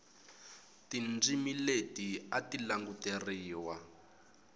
tindzimi leti a ti languteriwa